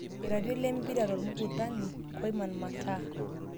Iratiot lempira tormukutani; Koiman, mata